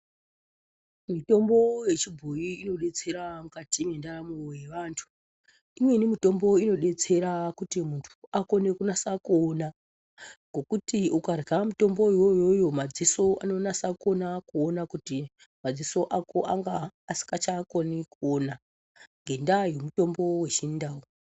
Mitombo yechibhoi inobetsera mukati mwendaramo yevantu. Imweni mitombo inobetsera kuti muntu akone kunasa kuona. Ngokuti ukarya mutombo iyoyoyo madziso anonasa kuona kuti madziso ako anga asingachanasi kukona kuona ngendaa yemutombo vechindau.